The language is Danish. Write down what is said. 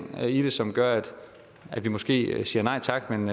i det som gør at vi måske siger nej tak men